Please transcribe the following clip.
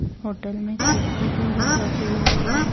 Hotel में कुर्सी table रखे हुए है।